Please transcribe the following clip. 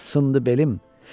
ah sındı belim.